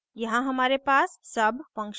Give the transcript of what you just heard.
यहाँ हमारे पास sub function है